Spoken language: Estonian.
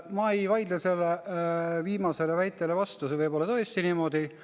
Ma ei vaidle sellele viimasele väitele vastu, see võib olla tõesti niimoodi.